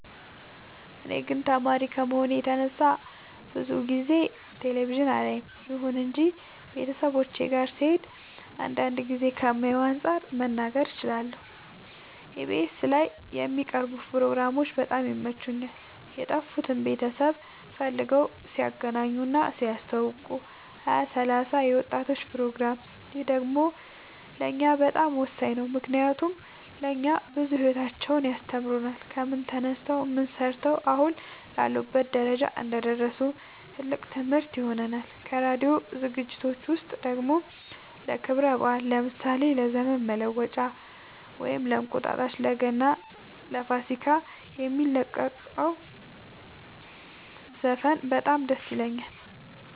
እኔ ግን ተማሪ ከመሆኔ የተነሳ ብዙ ጊዜ ቴሌቪዥን አላይም ይሁን እንጂ ቤተሰቦቼ ጋ ስሄድ አንዳንድ ጊዜ ከማየው አንፃር መናገር እችላለሁ ኢቢኤስ ላይ የሚቀርቡ ፕሮግራሞች በጣም ይመቹኛል የጠፉትን ቤተሰብ ፈልገው ሲያገናኙ እና ሲያስተዋውቁ ሀያ ሰላሳ የወጣቶች ፕሮግራም ይህ ደግሞ ለእኛ በጣም ወሳኝ ነው ምክንያቱም ለእኛ ብዙ ሂወታቸውን ያስተምሩናል ከምን ተነስተው ምን ሰርተው አሁን ላሉበት ደረጃ እንደደረሱ ትልቅ ትምህርት ይሆነናል ከራዲዮ ዝግጅት ውስጥ ደግሞ ለክብረ በአል ለምሳሌ ለዘመን መለወጫ ወይም እንቁጣጣሽ ለገና ለፋሲካ የሚለቁት ዘፈን በጣም ደስ ይለኛል